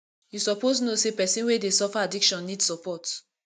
you suppose know sey pesin wey dey suffer addiction need support